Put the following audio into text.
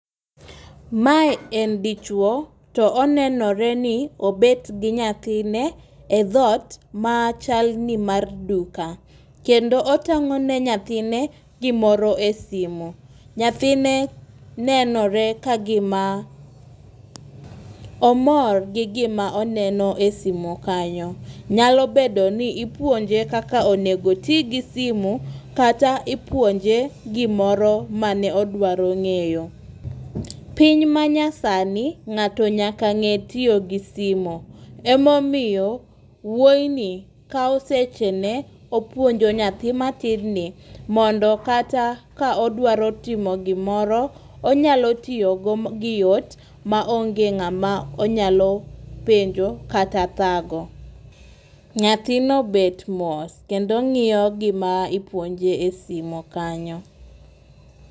Mae en dichuo to onenore ni obet gi nyathine e dhot ma chal ni mar duka . Kendo otang'o ne nyathine gimoro e simo. Nyathine nenore ka gima omor gi gima oneno e simu kanyo .Nyalo bedo ni ipuonje kakonego otii gi simo kata opuonje gimoro mane odwaro ng'eyo. Piny ma nya sani ng'ato nyaka ng'e tiyo gi simo emomiyo wuoyi ni kawo seche ne opuonjo nyathi matin ni mondo kata ka odwaro timo gimoro onyalo tiyo go gi yot ma onge ng'ama onyalo penjo kata thago. Nyathino bet mos kendo ng'iyo gima ipuonje e simo kanyo .